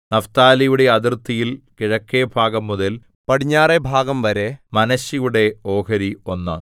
നഫ്താലിയുടെ അതിർത്തിയിൽ കിഴക്കെഭാഗംമുതൽ പടിഞ്ഞാറെ ഭാഗംവരെ മനശ്ശെയുടെ ഓഹരി ഒന്ന്